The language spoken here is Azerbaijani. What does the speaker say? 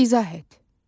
İzah et.